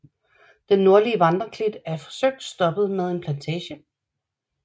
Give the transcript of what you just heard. Den nordlige vandreklit er forsøgt stoppet med en plantage